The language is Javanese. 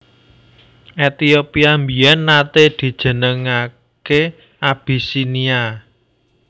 Ethiopia biyèn naté dijenengké Abisinia